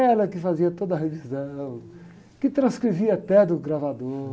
Ela que fazia toda a revisão, que transcrevia até do gravador.